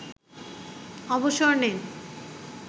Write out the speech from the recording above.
অবসর নেন